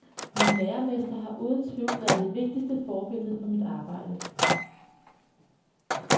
Min læremester har uden tvivl været det vigtigste forbillede for mit arbejde.